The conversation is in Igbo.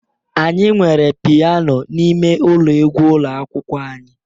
Anyị nwere Piano n'ime ụlọ egwu ụlọ akwụkwọ anyị